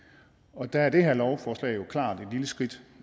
og der er det her lovforslag jo klart et lille skridt